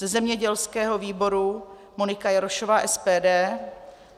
Ze zemědělského výboru Monika Jarošová - SPD.